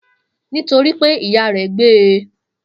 Nitoripe iya re gbe e.